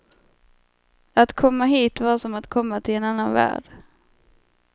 Att komma hit var som att komma till en annan värld.